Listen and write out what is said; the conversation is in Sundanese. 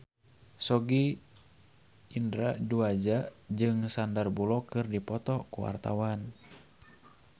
Sogi Indra Duaja jeung Sandar Bullock keur dipoto ku wartawan